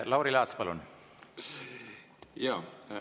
Lauri Laats, palun!